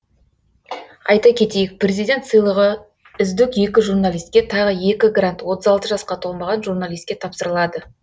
айта кетейік президент сыйлығы үздік екі журналистке тағы екі грант отыз алты жасқа толмаған журналистке тапсырылады